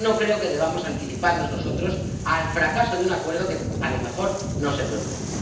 No creo que debamos anticiparnos nosotros al fracaso de un acuerdo que a lo mejor no se produce.